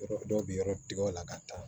Yɔrɔ dɔw bɛ yɔrɔ tigɛ o la ka taa